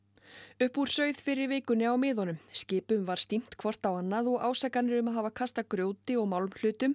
upp úr sauð fyrr í vikunni á miðunum skipum var hvort á annað og ásakanir um að hafa kastað grjóti og